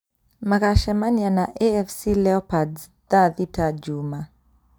Magacemania na AFC leopards thaa thita Juma